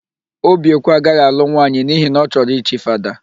Obiekwe agaghị alụ nwaanyị n'ihi na ọ chọrọ ichi Fada.